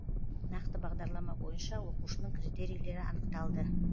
нақты бағдарлама бойынша оқушының критерийлері анықталып